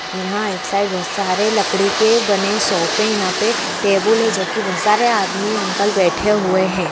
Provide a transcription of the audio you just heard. यहां एक साइड बहुत सारे लकड़ी के बने हुए सोफे यहां पर टेबल है। जो की बहुत सारे आदमी अंकल बैठे हुए हैं